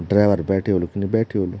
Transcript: ड्राईवर बैठ्यु हूलू की नी बैठ्यु हूलू।